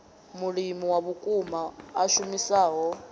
mulimi wa vhukuma a shumisaho